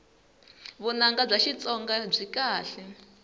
vunanga bya xitsonga byi kahle